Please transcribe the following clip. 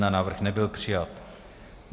Návrh nebyl přijat.